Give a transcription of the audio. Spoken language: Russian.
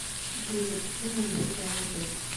джой запусти музыку в жанре бэйс